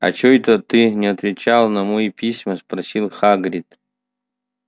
а чой-то ты не отвечал на мои письма спросил хагрид